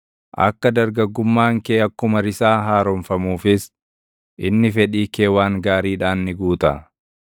akka dargaggummaan kee akkuma risaa haaromfamuufis, inni fedhii kee waan gaariidhaan ni guuta.